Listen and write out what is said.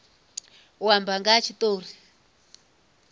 u amba nga ha tshitori